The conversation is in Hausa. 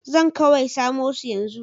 Zan kawai samo su yanzu.